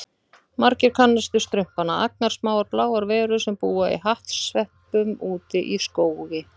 Margir kannast við Strumpana, agnarsmáar bláar verur sem búa í hattsveppum úti í skógi.